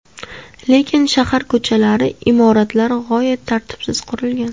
Lekin shahar ko‘chalari, imoratlar g‘oyat tartibsiz qurilgan.